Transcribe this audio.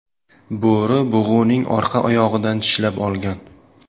Bo‘ri bug‘uning orqa oyog‘idan tishlab olgan.